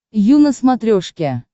ю на смотрешке